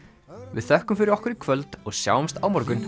við þökkum fyrir okkur í kvöld og sjáumst á morgun